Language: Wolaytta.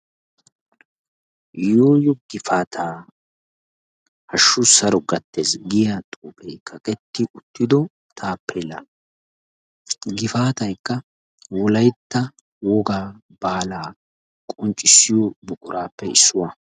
Yooyo gifaataa hashshu saro gattes giya xuufee kaqetti uttido taappeellaa. Gifaataykka wolaytta wogaa baalaa qonccissiyo buquraappe issuwa .